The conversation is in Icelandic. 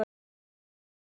Ekkert svar.